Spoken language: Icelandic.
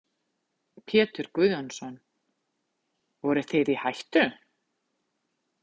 Pétur Guðjónsson: Voruð þið í hættu?